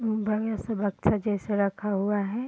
बढ़ियाँ से बक्सा जैसा रखा हुआ है।